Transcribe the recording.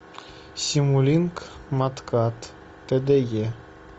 симулинк маткад тде